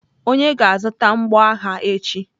Onye ga-azụta mgboagha echi.